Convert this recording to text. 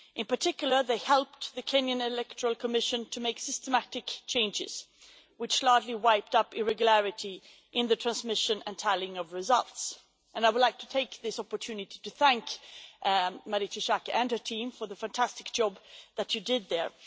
In particular, they helped the Kenyan Electoral Commission to make systematic changes which largely eliminated irregularities in the transmission and tallying of results, and I would like to take this opportunity to thank Marietje Schaake and her team for the fantastic job that they did there.